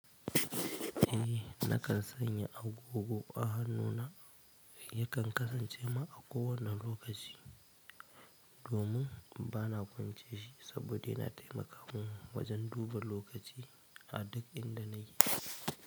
Eh nakan sanya agogo a hannuna, yakan kasance ma a kowane lokaci domin bana kwance shi saboda yana taimakawa wajen duba lokaci a duk inda na yi.